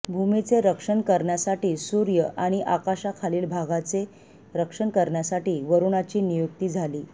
भूमीचे रक्षण करण्यासाठी सूर्य आणि आकाशाखालील भागाचे रक्षण करण्यासाठी वरुणाची नियुक्ती झाली